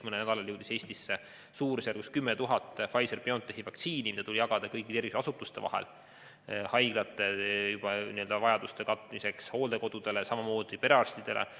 Mõnel nädalal jõudis Eestisse umbes 10 000 Pfizer/BioNtechi vaktsiini doosi, mis tuli jagada kõigi tervishoiuasutuste vahel, sh haiglate vajaduste katmiseks, hooldekodudele ja samamoodi perearstidele.